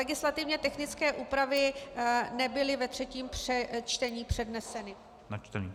Legislativně technické úpravy nebyly ve třetím čtení předneseny a načteny.